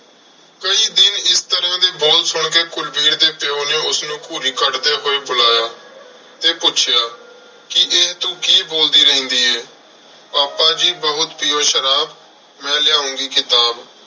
ਕਈ ਦਿਨ ਇਸ ਤਰ੍ਹਾਂ ਦੇ ਬੋਲ ਸੁਣ ਕੇ ਕੁਲਵੀਰ ਦੇ ਪਿਉ ਨੇ ਉਸਨੂੰ ਘੂਰੀ ਕੱਢਦੇ ਹੋਏ ਬੁਲਾਇਆ ਤੇ ਪੁੱਛਿਆ ਕਿ ਇਹ ਤੂੰ ਕੀ ਬੋਲਦੀ ਰਹਿੰਦੀ ਏ? ਪਾਪਾ ਜੀ ਬਹੁਤ ਪੀਉ ਸ਼ਰਾਬ, ਮੈਂ ਲਿਆਉਂਗੀ ਕਿਤਾਬ।